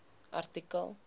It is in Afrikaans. artikel